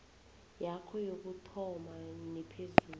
yakho yokuthoma nephezulu